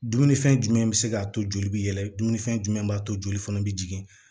Dumunifɛn jumɛn be se k'a to joli bi yɛlɛfɛn jumɛn b'a to joli fana be jigin